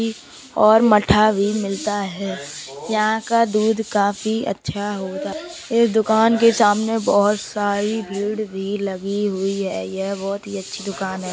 दही और मट्ठा भी मिलता है। यहाँ का दूध काफी अच्छा होता है। इस दुकान के सामने बहोत सारी भीड़ भी लगी हुई है। यह बहोत ही अच्छी दुकान है।